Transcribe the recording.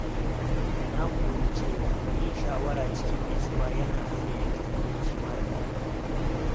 Na koyi cewa yin shawara cikin natsuwa yana hana yanke hukunci mara daɗi.